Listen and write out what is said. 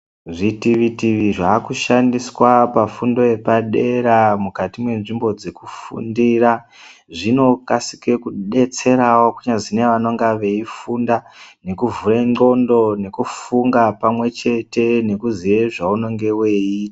Zvitivi-tivi zvakushandiswa pafundo yepadera mukati mwenzvimbo dzekufundira zvinokasike kudetserawo kunyazi nevanonga veifunda nekuvhure ndxondo nekufunda pamwechete nekuziya zvaunenge weii.